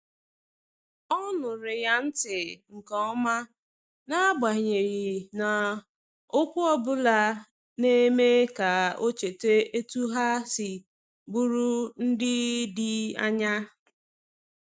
O nụụrụ ya ntị nke ọma, n’agbanyeghị na okwu ọ bụla na-eme ka o cheta etu ha si bụrụ ndị dị anya.